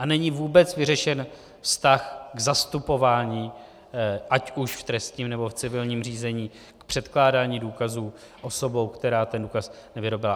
A není vůbec vyřešen vztah k zastupování ať už v trestním, nebo v civilním řízení, k předkládání důkazů osobou, která ten důkaz nevyrobila.